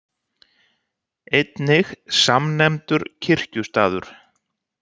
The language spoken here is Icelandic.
Einnig samnefndur kirkjustaður.